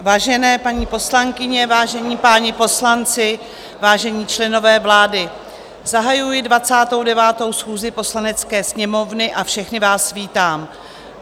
Vážené paní poslankyně, vážení páni poslanci, vážení členové vlády, zahajuji 29. schůzi Poslanecké sněmovny a všechny vás vítám.